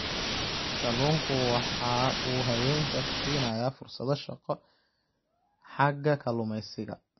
Kalluunku waxa uu haweenka siinayaa fursado shaqo xagga kalluumaysiga.